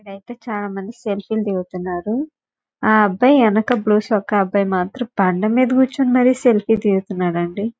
ఐతే చాల మంది సెల్ఫీలే లు దిగుతున్నారు ఆ అబ్బాయి ఎనక బ్లూ చొక్కా అబ్బాయి మాతరం బాండ మీద కూర్చుని మరి సెల్ఫీ తెస్తున్నాడండి.